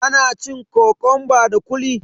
ana cin kokonba da kuli